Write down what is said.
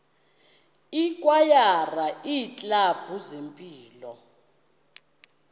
ikwayara iiklabhu zempilo